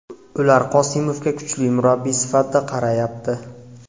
Ular Qosimovga kuchli murabbiy sifatida qarayapti.